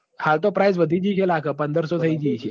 હાલ તો price વધી જી હશે લાગ પદરસો થઈ જી હશે